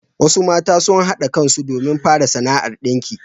Wasu mata sun haɗa kan su domin fara sana'ar ɗinki.